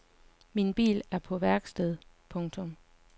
Min bil er på værksted. punktum